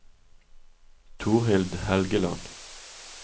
Torhild Helgeland